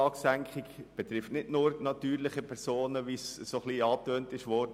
Die Senkung der Steueranlage betrifft nicht nur, wie angetönt, die natürlichen Personen.